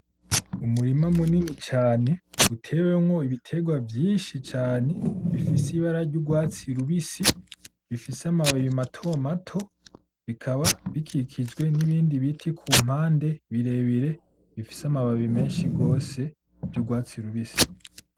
Umurima munini cane utewemwo ibiterwa vyinshi cane bifise ibara ry'urwatsi rubisi bifise amababi matomato, bikaba bikikijwe nibindi biti kumpande birebire bifise amababi menshi gose vy'urwatsi rubisi.